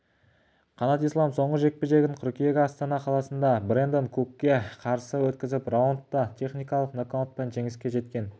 қанат ислам соңғы жекпе-жегін қыркүйек астана қаласында брэндон кукке қарсы өткізіп раундта техникалық нокаутпен жеңіске жеткен